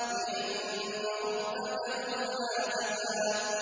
بِأَنَّ رَبَّكَ أَوْحَىٰ لَهَا